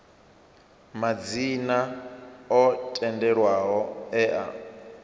madzina o tendelwaho e a